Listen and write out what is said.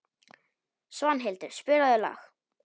Svanhildur, spilaðu lag.